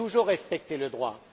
J'ai toujours respecté le droit.